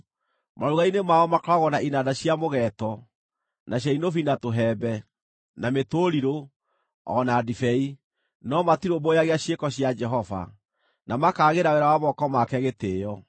Maruga-inĩ mao makoragwo na inanda cia mũgeeto, na cia inubi na tũhembe, na mĩtũrirũ, o na ndibei, no matirũmbũyagia ciĩko cia Jehova, na makaagĩra wĩra wa moko make gĩtĩĩo.